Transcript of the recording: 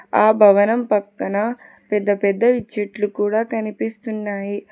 ఆ భవనం పక్కన పెద్ద పెద్ద ఇచ్చట్లు కూడా కనిపిస్తున్నాయి.